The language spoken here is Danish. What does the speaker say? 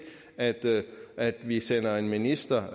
at det at vi sender en minister